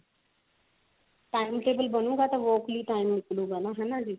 time table ਬ੍ਣੁਗਾ ਤਾਂ walk ਲਈ time ਨਿਕਲੁਗਾ ਹਨਾ ਜੀ